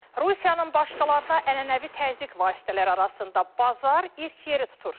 Rusiyanın başqalarına ənənəvi təzyiq vasitələri arasında bazar ilk yeri tutur.